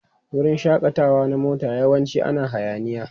Wurin shakatawa na mota yawanci ana hayaniya.